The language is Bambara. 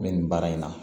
N bɛ nin baara in na